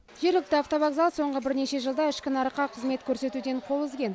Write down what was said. жергілікті автовокзал соңғы бірнеше жылда ішкі нарыққа қызмет көрсетуден қол үзген